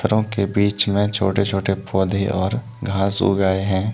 यों बीच में छोटे छोटे पौध और घास उग गए है।